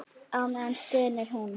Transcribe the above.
Á meðan stynur hún.